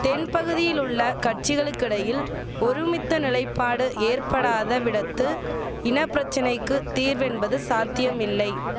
தென்பகுதியில் உள்ள கட்சிகளுக்கிடையில் ஒருமித்த நிலைப்பாடு ஏற்படாத விடத்து இனபிரச்சனைக்கு தீர்வென்பது சாத்தியமில்லை